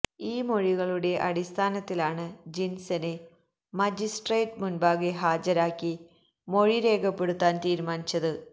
ഈ മൊഴികളുടെ അടിസ്ഥാനത്തിലാണ് ജിന്സനെ മജിസ്ട്രേട്ട് മുന്പാകെ ഹാജരാക്കി മൊഴി രേഖപ്പെടുത്താന് തീരുമാനിച്ചത്